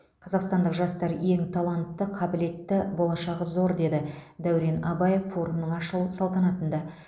қазақстандық жастар ең талантты қабілетті болашағы зор деді дәурен абаев форумның ашылу салтанатында